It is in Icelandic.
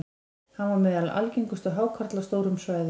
hann var meðal algengustu hákarla á stórum svæðum